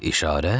İşarə?